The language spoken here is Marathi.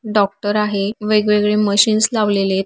डॉक्टर आहे. वेग-वेगळे मशीन्स लावलेलेत.